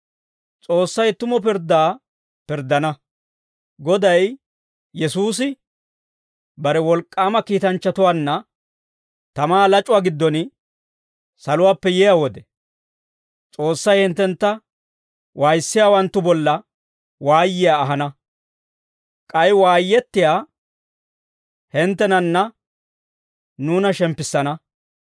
S'oossay tumu pirddaa pirddana. Goday Yesuusi bare wolk'k'aama kiitanchchatuwaanna tamaa lac'uwaa giddon saluwaappe yiyaa wode, S'oossay hinttentta waayissiyaawanttu bolla waayiyaa ahana. K'ay waayettiyaa hinttenanne nuuna shemppissana.